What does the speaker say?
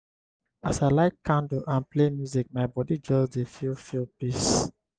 as i light candle and play music my body just dey feel feel peace.